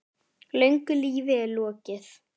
Löngu lífi er lokið.